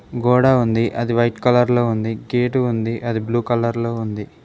గోడ ఉంది అది వైట్ కలర్ లో ఉంది గేటు ఉంది అది బ్లూ కలర్ లో ఉంది.